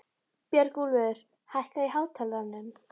Björgúlfur, hækkaðu í hátalaranum.